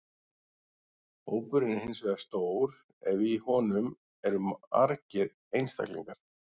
Hópurinn er hins vegar stór ef í honum eru margir einstaklingar.